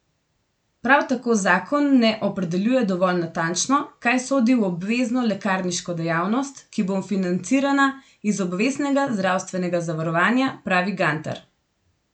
Prav tako zakon ne opredeljuje dovolj natančno, kaj sodi v obvezno lekarniško dejavnost, ki bo financirana iz obveznega zdravstvenega zavarovanja, pravi Gantar.